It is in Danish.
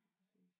Præcis